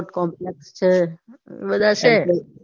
sports complex છે એ બધા છે.